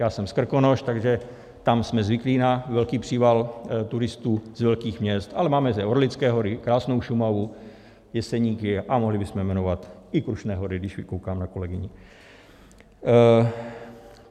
Já jsem z Krkonoš, takže tam jsme zvyklí na velký příval turistů z velkých měst, ale máme zde Orlické hory, krásnou Šumavu, Jeseníky a mohli bychom jmenovat i Krušné hory, když koukám na kolegyni.